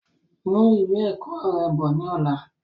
Mú ìwé ẹ̀kọ́ rẹ bọ̀ ni ọ̀la!